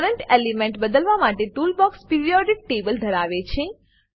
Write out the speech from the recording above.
current element બદલવા માટે toolbox periodic table ધરાવે છે